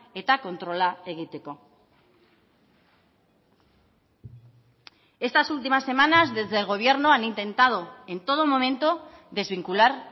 eta kontrola egiteko estas últimas semanas desde el gobierno han intentado en todo momento desvincular